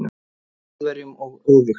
Þjóðverjum og öfugt.